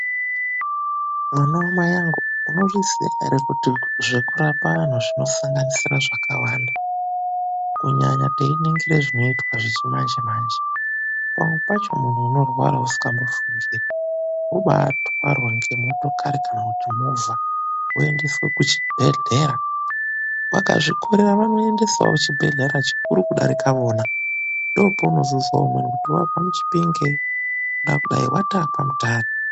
Mwana wamai vangu unozviziva here kuti zvekurapa vantu zvinosanganisira zvakawanda? Kunyanya teiningira zvinoitwa zvechi manje manje. Pamwe pacho muntu unorwara usingambofungiri kubatwarwa nemotokari kana kuti movha woendeswa kuchibhedhlera. Vakazvikorera vokuendesawo kuchibhedhlera chikuru kudarika vona. Ndopaunozozwa umweni kuti muntu aendeswa Chipinge asi wataa kwaMutare .